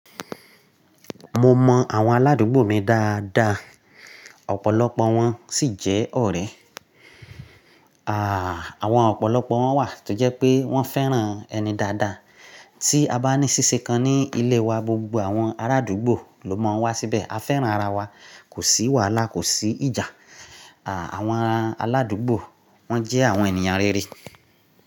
Mo mọ àwọn aládùúgbò mi dáadáa, ọ̀pọ̀lọpọ̀ wọn sì jẹ́ ọ̀rẹ́. Àwọn ọ̀pọ̀lọpọ̀ wọn wà tó jẹ́ pé wọ́n fẹ́ràn ẹni dáadáa. Tí a bá ní ṣíṣe kan ní ilé wa, gbogbo àwọn arádúgbò ló mọ̀ ọ́n wá síbẹ̀. A fẹ́ràn ara wa, kò sí wàhálà, kò sí ìjà. Àwọn aládùúgbò wọ́n jẹ́ àwọn ènìyàn rere.